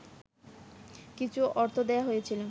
কিছু অর্থ দেয়া হয়েছিল